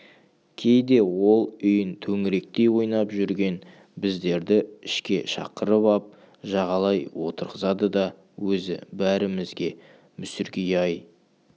кейде ол үйін төңіректей ойнап жүрген біздерді ішке шақырып ап жағалай отырғызады да өзі бәрімізге мүсіркей аяй